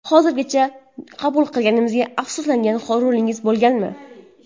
Hozirgacha qabul qilganizdan afsuslangan rolingiz bo‘lganmi?